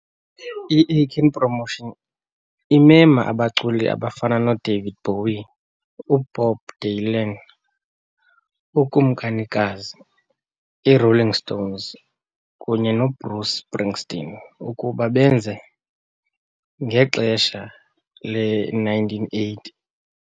I-Aiken Promotions imema abaculi abafana noDavid Bowie, uBob Dylan, uKumkanikazi, i-Rolling Stones, kunye noBruce Springsteen ukuba benze ngexesha le-1980.